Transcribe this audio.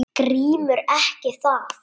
GRÍMUR: Ekki það?